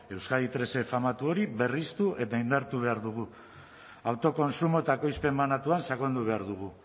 euskadi hirue famatu hori berritu eta indartu behar dugu autokontsumo eta ekoizpen banatuan sakondu behar dugu